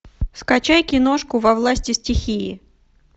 скачай киношку во власти стихии